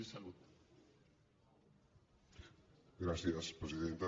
gràcies presidenta